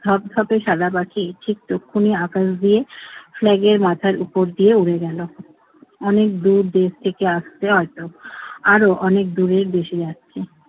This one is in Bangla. ধবধবে সাদা পাখি ঠিক তখনই আকাশ দিয়ে flag এর মাথার উপর দিয়ে উড়ে গেল। অনেকদূর দেশ থেকে আসছে হয়তো। আরো অনেক দূরের দেশেই যাচ্ছে।